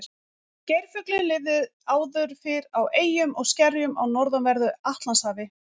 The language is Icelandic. geirfuglinn lifði áður fyrr á eyjum og skerjum á norðanverðu atlantshafi